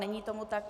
Není tomu tak.